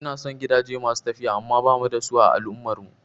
Ina son gidaje masu tafiya amma bamu da su a al'ummar mu